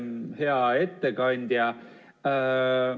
Hea ettekandja!